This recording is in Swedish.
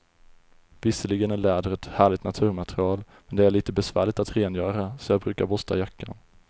Visserligen är läder ett härligt naturmaterial, men det är lite besvärligt att rengöra, så jag brukar borsta jackan.